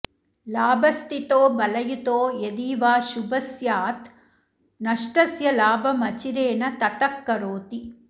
लाभस्थितो बलयुतो यदि वा शुभः स्यात् नष्टस्य लाभमचिरेण ततः करोति